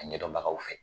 A ɲɛdɔnbagaw fɛ